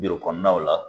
kɔnɔnaw la